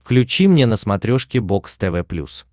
включи мне на смотрешке бокс тв плюс